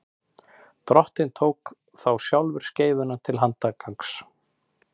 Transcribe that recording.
drottinn tók þá sjálfur skeifuna til handargagns